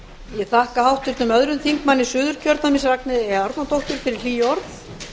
ég þakka háttvirtum öðrum þingmönnum suðurkjördæmis ragnheiði e árnadóttur fyrir hlý orð